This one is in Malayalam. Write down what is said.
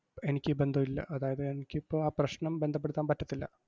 എനിക്ക് ബന്ധവില്ല, അതായത് എനിക്കിപ്പോ ആ പ്രശ്നം ബന്ധപ്പെടുത്താൻ പറ്റത്തില്ല.